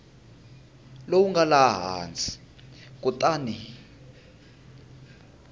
lowu nga laha hansi kutani